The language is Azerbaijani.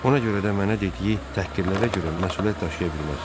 Ona görə də mənə dediyi təhqirlərə görə məsuliyyət daşıya bilməz.